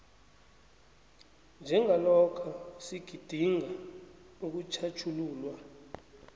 njengalokha sigidinga ukutjhatjhululwa